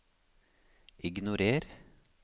ignorer